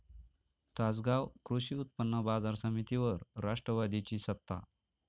तासगाव कृषी उत्पन्न बाजार समितीवर राष्ट्रवादीची सत्ता